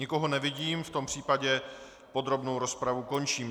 Nikoho nevidím, v tom případě podrobnou rozpravu končím.